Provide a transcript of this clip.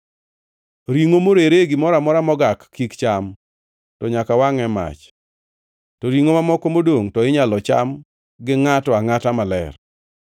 “ ‘Ringʼo morere e gimoro amora mogak, kik cham, to nyaka wangʼ e mach. To ringʼo mamoko modongʼ to inyalo cham gi ngʼato angʼata maler.